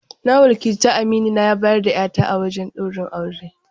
Na wakilta aminina ya bayar da 'ya ta a wajen ɗaurin aure.